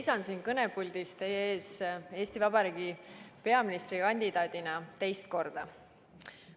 Seisan siin kõnepuldis teie ees Eesti Vabariigi peaministri kandidaadina teist korda.